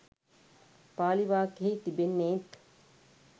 පාලි වාක්‍යයෙහි තිබෙන්නේත්